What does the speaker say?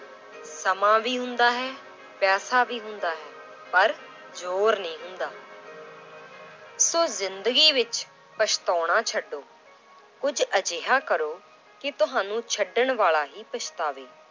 ਸਮਾਂ ਵੀ ਹੁੰਦਾ ਹੈ ਪੈਸਾ ਵੀ ਹੁੰਦਾ ਹੈ ਪਰ ਜ਼ੋਰ ਨਹੀਂ ਹੁੰਦਾl ਸੋ ਜ਼ਿੰਦਗੀ ਵਿੱਚ ਪਛਤਾਉਣਾ ਛੱਡੋ, ਕੁੱਝ ਅਜਿਹਾ ਕਰੋ ਕਿ ਤੁਹਾਨੂੰ ਛੱਡਣ ਵਾਲਾ ਹੀ ਪਛਤਾਵੇ।